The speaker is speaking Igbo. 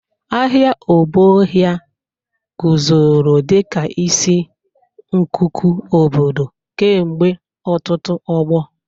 Ahịa Obohia guzoro dịka isi nkuku obodo kemgbe ọtụtụ ọgbọ.